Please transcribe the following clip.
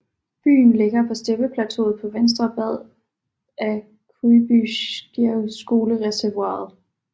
Byen ligger på steppeplateauet på venstre bred af Kujbysjevskojereservoiret